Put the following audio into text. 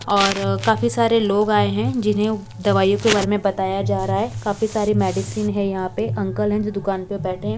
और काफी सारे लोग आए हैं जिन्हें दवाइयों के बारे में बताया जा रहा है काफी सारे मेडिसिन है यहां पे अंकल है जो दुकान पे बैठे--